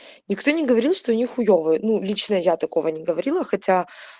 никто не говорил что они хуевые ну лично я такого не говорила хотя